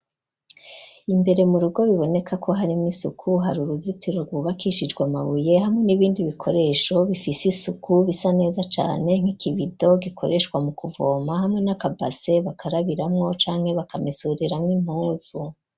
Imbere mu rugo biboneka ko harimwo isuku hari uruzitiro rwubakishijwe amabuye hamwe n'ibindi bikoresho bifise isuku bisa neza cane nk'ikibido gikoreshwa mu kuvoma hamwe na kabase bakarabiramwo canke bakamesuriramwo impuzu.